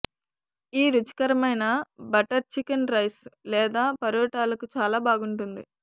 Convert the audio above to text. ఈ రుచికరమైన butter chicken rice లేదా పరోటాలకు చాలా బాగుంటుంది